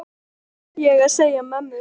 Þeim þurfti ég að segja mömmu frá.